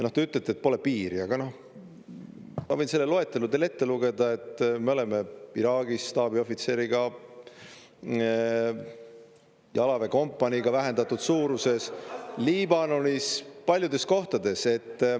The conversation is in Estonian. Te ütlete, et pole piiri, aga ma võin selle loetelu teile ette lugeda, et me oleme Iraagis staabiohvitseriga, jalaväekompaniiga vähendatud suuruses, Liibanonis, paljudes kohtades.